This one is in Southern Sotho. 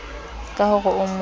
ka ho re o mo